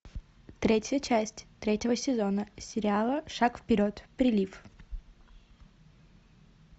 третья часть третьего сезона сериала шаг вперед прилив